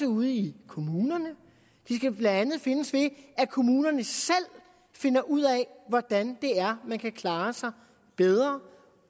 ude i kommunerne de skal blandt andet findes ved at kommunerne selv finder ud af hvordan man kan klare sig bedre